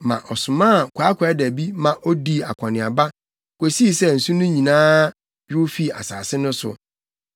na ɔsomaa kwaakwaadabi ma odii akɔneaba kosii sɛ nsu no nyinaa yow fii asase no so.